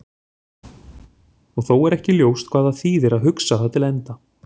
Og þó er ekki ljóst hvað það þýðir að hugsa það til enda.